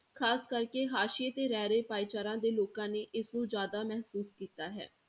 ਖ਼ਾਸ ਕਰਕੇ ਹਾਸੀਏ ਤੇ ਰਹਿ ਰਹੇ ਭਾਈਚਾਰਾਂ ਦੇ ਲੋਕਾਂ ਨੇ ਇਸਨੂੰ ਜ਼ਿਆਦਾ ਮਹਿਸੂਸ ਕੀਤਾ ਹੈ।